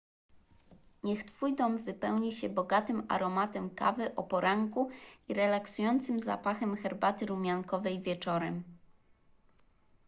niech twój dom wypełni się bogatym aromatem kawy o poranku i relaksującym zapachem herbaty rumiankowej wieczorem